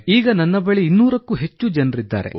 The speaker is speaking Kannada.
ಈಗ ನನ್ನ ಬಳಿ 200 ಕ್ಕೂ ಹೆಚ್ಚು ಜನರಿದ್ದಾರೆ